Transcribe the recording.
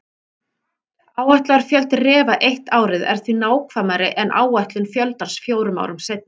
Áætlaður fjöldi refa eitt árið er því nákvæmari en áætlun fjöldans fjórum árum seinna.